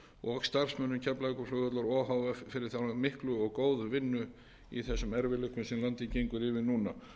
og starfsmönnum keflavíkurflugvallar o h f fyrir þá miklu og góðu vinnu í þessum erfiðleikum sem yfir landið ganga núna